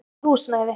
Frítt húsnæði.